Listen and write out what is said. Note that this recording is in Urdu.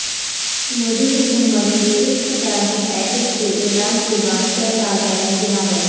مودی حکومت کے اقتصادی پیکج کے اعلان کے بعد شیئر بازار میں گراوٹ